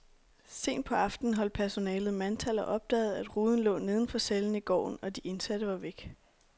Sent på aftenen holdt personalet mandtal og opdagede, at ruden lå neden for cellen i gården, og de indsatte var væk.